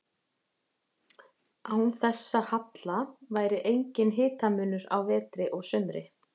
Án þessa halla væri enginn hitamunur á vetri og sumri.